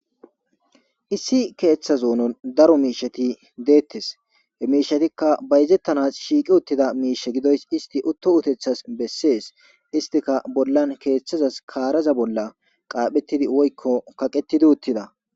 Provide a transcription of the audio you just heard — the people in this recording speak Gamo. Issi keeththe zoonon daro miishsheti deettees,he miishshetika bayzettanas shiiqi uttidamiishe gidoyissi utto utethazi bessees, istika keeththeza bolla woyiko kaaraza bolla kaqetti uttida.